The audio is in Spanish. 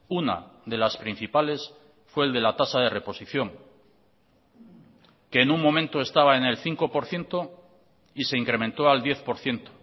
una de las principales fue el de la tasa de reposición que en un momento estaba en el cinco por ciento y se incrementó al diez por ciento